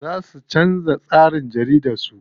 Za su canza tsarin jaridar su.